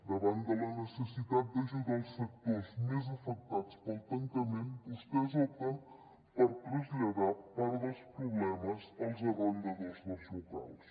davant de la necessitat d’ajudar els sectors més afectats pel tancament vostès opten per traslladar part dels problemes als arrendadors dels locals